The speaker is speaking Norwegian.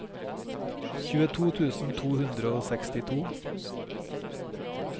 tjueto tusen to hundre og sekstito